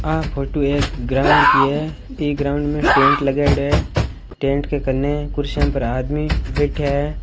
आ photo एक ground की है इ ग्राउंड में टेंट लगायोडो है टेंट के कने कुर्सियां पर आदमी बेठिया है।